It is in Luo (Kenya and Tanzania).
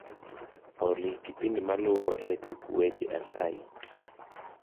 olly kipindi maluo e tuk weche asayi